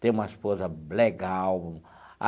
Tenho uma esposa legal.